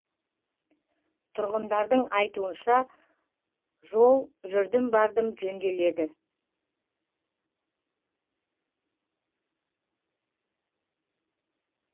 тұрғындардың айтуынша жол жүрдім бардым жөнделеді